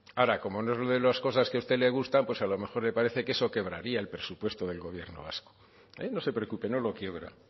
ahora como no es de las cosas que a usted le gustan pues a lo mejor le parece que eso quebraría el presupuesto del gobierno vasco no se preocupe no lo quiebra